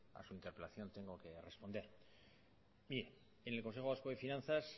a su interpelación tengo que responder y en el consejo vasco de finanzas